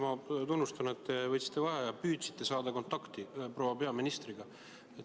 Ma tunnustan, et te võtsite vaheaja ja püüdsite saada kontakti proua peaministriga.